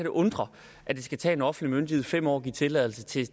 undre at det skal tage en offentlig myndighed fem år at give tilladelse til